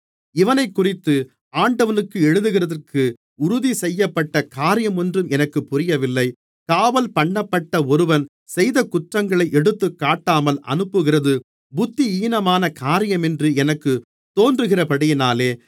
இவனைக்குறித்து ஆண்டவனுக்கு எழுதுகிறதற்கு உறுதிசெய்யப்பட்ட காரியமொன்றும் எனக்கு புரியவில்லை காவல்பண்ணப்பட்ட ஒருவன் செய்த குற்றங்களை எடுத்துக்காட்டாமல் அனுப்புகிறது புத்தியீனமான காரியமென்று எனக்குத் தோன்றுகிறபடியினாலே